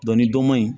ni dɔ ma ɲi